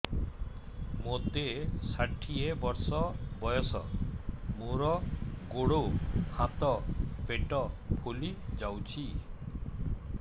ମୋତେ ଷାଠିଏ ବର୍ଷ ବୟସ ମୋର ଗୋଡୋ ହାତ ପେଟ ଫୁଲି ଯାଉଛି